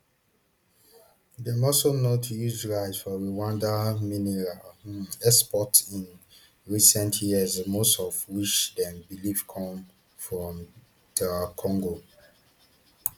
dem also note huge rise for rwanda mineral um exports in recent years most of which dem believe come from dr congo